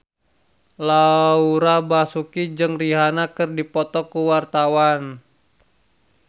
Laura Basuki jeung Rihanna keur dipoto ku wartawan